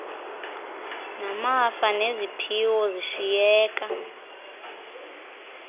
namafa neziphiwo zishiyeka